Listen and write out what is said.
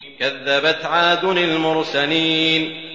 كَذَّبَتْ عَادٌ الْمُرْسَلِينَ